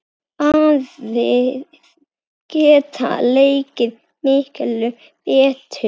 Aðrir geta leikið miklu betur.